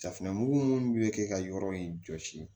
Safinɛmugu minnu bɛ kɛ ka yɔrɔ in jɔsi